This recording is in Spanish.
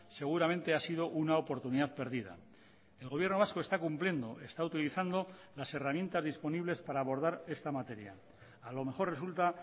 seguramente ha sido una oportunidad perdida el gobierno vasco está cumpliendo está utilizando las herramientas disponibles para abordar esta materia a lo mejor resulta